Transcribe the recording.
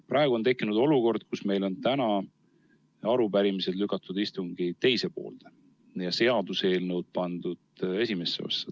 Praegu on tekkinud olukord, kus meil on täna arupärimised lükatud istungi teise poolde ja seaduseelnõud pandud esimesse osa.